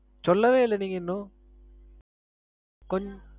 சொல்லவே இல்ல நீங்க இன்னும். ~